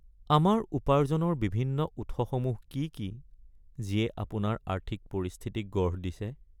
আমাৰ উপাৰ্জনৰ বিভিন্ন উৎসসমূহ কি কি যিয়ে আপোনাৰ আৰ্থিক পৰিস্থিতিক গঢ় দিছে?